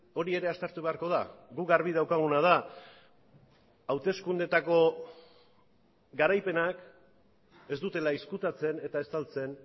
hori ere aztertu beharko da guk garbi daukaguna da hauteskundeetako garaipenak ez dutela ezkutatzen eta estaltzen